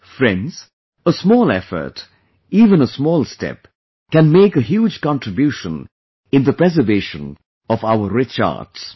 Friends, a small effort, even a small step, can make a huge contribution in the preservation of our rich arts